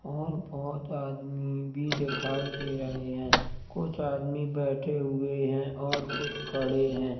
और बोहोत आदमी भी दिखाई दे रहे हैं कुछ आदमी बैठे हुए है और कुछ खडे हैं।